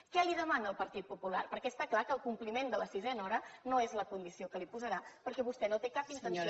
què li demana el partit popular perquè està clar que el compliment de la sisena hora no és la condició que li posarà perquè vostè no té cap intenció de complir la